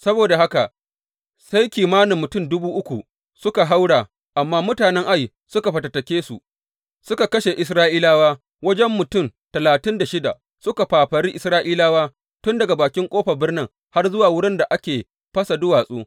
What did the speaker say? Saboda haka sai kimanin mutum duba uku suka haura; amma mutanen Ai suka fatattake su, suka kashe Isra’ilawa wajen mutum talatin da shida, suka fafari Isra’ilawa tun daga bakin ƙofar birnin har zuwa wurin da ake fasa duwatsu.